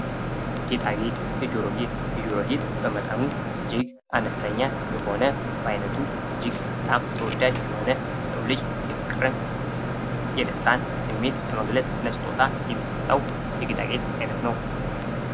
ጌጣጌጥ፦ የጆሮ ጌጥ፦ የጆሮ ጌጥ በመጠኑ እጅግ አነስተኛ የሆነ በአይነቱ እጅግም በጣም ተወዳጅ የሆነ የሰው ልጅ የፍቅርን፣ የደስታን ስሜት ለመግለጽ ለስጦታ የሚሰጠው የጌጣጌጥ አይነት ነው።